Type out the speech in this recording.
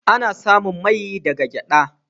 Ana samun mai daga gyada.